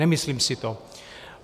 Nemyslím si to.